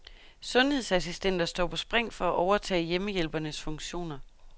Sundhedsassistenter står på spring for at overtage hjemmehjælpernes funktioner.